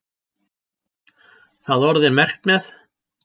Það orð er merkt með?